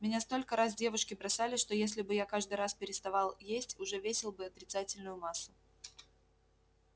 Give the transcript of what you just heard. меня столько раз девушки бросали что если бы я каждый раз переставал есть уже весил бы отрицательную массу